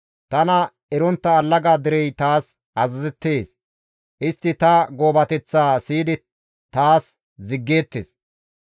Tana erontta allaga derey taas azazettees; istti ta goobateththaa siyidi taas ziggeettes.